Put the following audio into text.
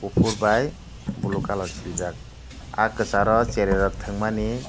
kuphur bai blue colour siljak ah kwcharo cherairok thwngmani.